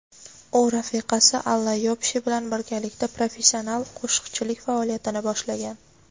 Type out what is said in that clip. u rafiqasi Alla Yoshpe bilan birgalikda professional qo‘shiqchilik faoliyatini boshlagan.